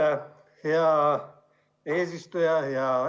Aitäh, hea eesistuja!